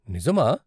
నిజమా!?